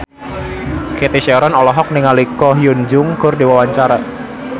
Cathy Sharon olohok ningali Ko Hyun Jung keur diwawancara